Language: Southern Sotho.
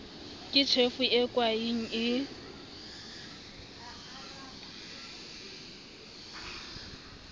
ke tjhefo e kwaeng e